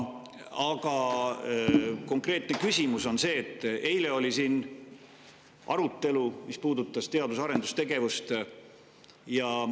Aga konkreetne küsimus on selle kohta, et eile oli siin arutelu, mis puudutas teadus‑ ja arendustegevust.